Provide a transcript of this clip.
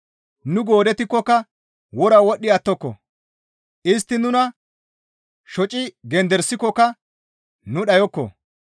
Nu goodettikkoka wora wodhdhi attoko; istti nuna shoci genderisikokka nu dhayokko.